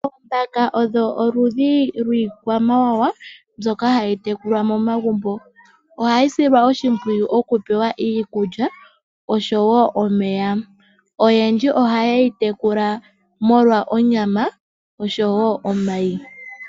Oombaka odho oludhi lwiikwamawawa mbyoka hayi tekulwa momagumbo. Ohayi silwa oshimpwiyu oku pewa iikulya oshowo omeya. Oyendji ohaye yi tekula molwa onyama oshowo omayi.